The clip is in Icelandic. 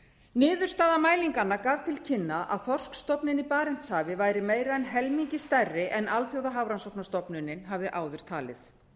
niðurstaða mælinganna gaf til kynna að þorskstofninn í barentshafi væri meira en helmingi stærri en alþjóðahafrannsóknastofnunin hafði áður talið